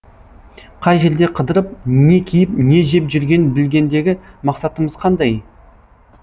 қай жерде қыдырып не киіп не жеп жүргенін білгендегі мақсатымыз қандай